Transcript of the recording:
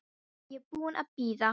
Nú er ég búin að bíða.